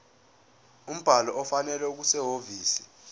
umbhalo ofanele okusehhovisi